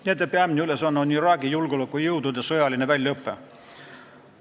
Nende peamine ülesanne on Iraagi julgeolekujõudude sõjaline väljaõpe.